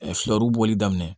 Fulaw bɔli daminɛ